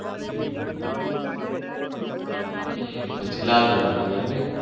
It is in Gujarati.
હમ હમ પછી લાલદરવાજા નઈ.